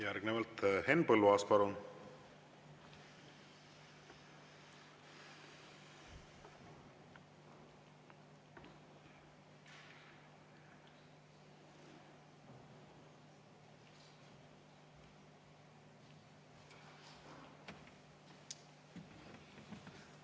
Järgnevalt Henn Põlluaas, palun!